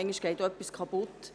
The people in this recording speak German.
manchmal geht etwas kaputt.